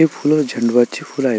हे फुलं झंड वाचे फुल आहेत.